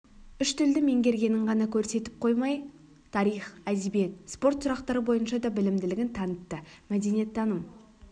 үш тілді меңгергенін ғана көрсетіп қоймай тарих әдебиет спорт сұрақтары бойынша да білімділігін танытты мәдениеттаным